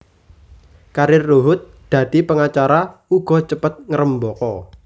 Karir Ruhut dadi pengacara uga cepet ngrembaka